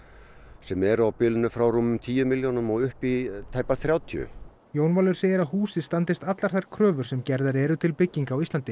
sem eru á bilinu frá rúmum tíu milljónum og upp í tæpar þrjátíu Jón Valur segir að húsið standist allar þær kröfur sem gerðar eru til bygginga á Íslandi